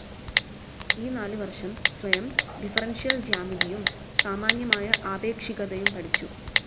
ഈ നാലു വർഷം സ്വയം, ഡിഫറൻഷ്യൽ ജ്യാമിതിയും സാമാന്യമായ ആപേക്ഷികതയും പഠിച്ചു.